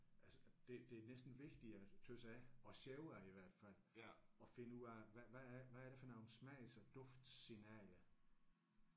Altså og det det er næsten vigtigere synes jeg og sjovere i hvert fald at finde ud af hvad hvad er hvad er det for nogle smags og duftsignaler